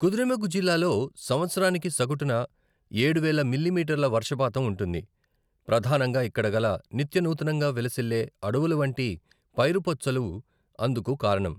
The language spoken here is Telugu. కుద్రేముఖ్ జిల్లాలో సంవత్సరానికి సగటున ఏడువేల మిల్లీమీటర్ల వర్షపాతం ఉంటుంది, ప్రధానంగా ఇక్కడ గల నిత్యనూతనంగా విలసిల్లే అడవులవంటి పైరుపచ్చలు అందుకు కారణం.